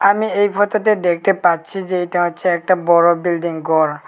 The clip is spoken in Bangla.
আমি এই ফোটো -তে দেখতে পাচ্ছি যে এইটা হচ্ছে একটা বড়ো বিল্ডিং গর ।